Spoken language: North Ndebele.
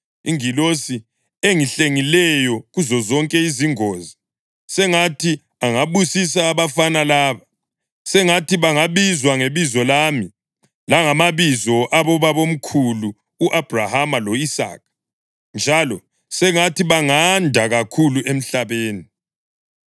iNgilosi engihlengileyo kuzozonke izingozi, sengathi angabusisa abafana laba. Sengathi bangabizwa ngebizo lami langamabizo abobabamkhulu u-Abhrahama lo-Isaka, njalo sengathi banganda kakhulu emhlabeni.”